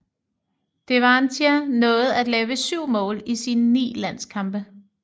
Devantier nåede at lave syv mål i sine ni landskampe